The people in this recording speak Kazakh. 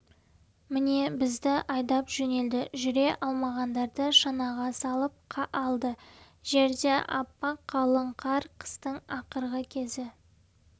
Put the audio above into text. міне бізді айдап жөнелді жүре алмағандарды шанаға салып алды жерде аппақ қалың қар қыстың ақырғы кезі